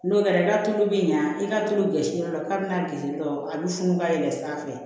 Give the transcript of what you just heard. N'o kɛra i ka tulu bɛ ɲa i ka tulu bɛ gɛrisi dɔ la k'a bɛna girin dɔrɔn a bɛ funu ka yɛlɛn sanfɛ